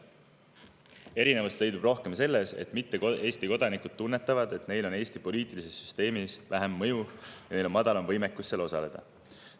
Erinevusi leidub rohkem selles, et mitte Eesti kodanikud tunnetavad, et neil on Eesti poliitilises süsteemis vähem mõju ja neil on madalam võimekus seal osaleda.